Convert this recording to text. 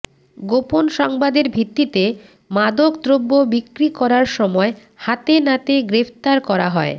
গোপন সংবাদের ভিত্তিতে মাদক দ্রব্য বিক্রি করার সময় হাতে নাতে গ্রেফতার করা হয়